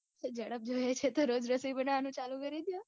તો જડપ જોઈએ છે તો રોજ રસોઈ બનાવાનું ચાલુ કરી દયો.